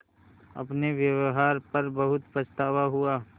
अपने व्यवहार पर बहुत पछतावा हुआ